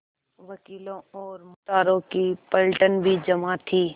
वकीलों और मुख्तारों की पलटन भी जमा थी